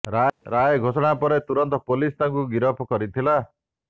ରାୟ ଘୋଷଣା ପରେ ତୁରନ୍ତ ପୁଲିସ ତାଙ୍କୁ ଗିରଫ କରିଥିଲା